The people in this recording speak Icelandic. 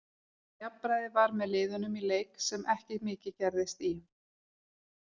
Jafnræði var með liðunum í leik sem ekki mikið gerðist í.